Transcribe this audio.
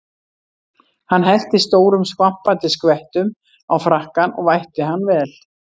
Hann hellti stórum skvampandi skvettum á frakkann og vætti hann vel.